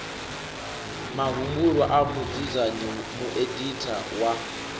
mahumbulwa a mudzudzanyi mueditha wa